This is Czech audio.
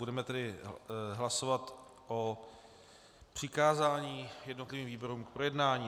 Budeme tedy hlasovat o přikázání jednotlivým výborům k projednání.